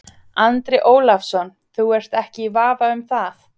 Andri Ólafsson: Þú ert ekki í vafa um það?